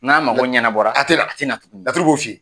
N'a mako ɲɛna bɔra, a tɛ na, a tɛ na tuguni, laturu b'u f'i ye.